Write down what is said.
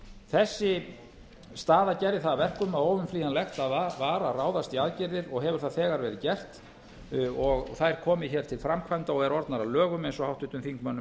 þessi staða gerði það að verkum að óumflýjanlegt var að ráðast í aðgerðir og hefur það þegar verið gert og þær komið hér til framkvæmda og eru orðnar að lögum eins og háttvirtum þingmönnum er